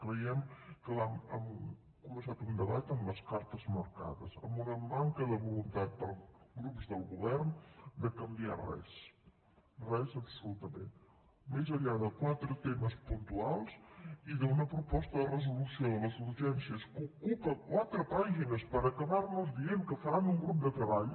creiem que hem començat un debat amb les cartes marcades amb una manca de voluntat pels grups del govern de canviar res res absolutament més enllà de quatre temes puntuals i d’una proposta de resolució de les urgències que ocupa quatre pàgines per acabar nos dient que faran un grup de treball